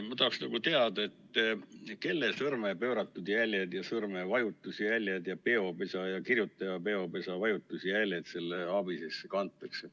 Ma tahaksin teada, kelle sõrme pööratud jäljed ja sõrmevajutusjäljed ja peopesa ja kirjutaja peopesa vajutusjäljed ABIS-esse kantakse.